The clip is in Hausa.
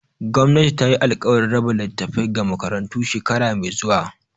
Gwamnati tayi alkawarin raba littafai ga makarantu shekara mai zuwa.